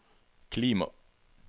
klima